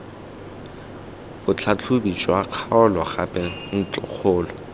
botlhatlhobi jwa kgaolo gape ntlokgolo